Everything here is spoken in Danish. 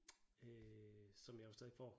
Øh som jeg jo stadigvæk får